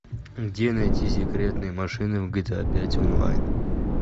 где найти секретные машины в гта пять онлайн